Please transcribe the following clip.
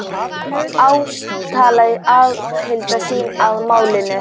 Hann játaði aðild sína að málinu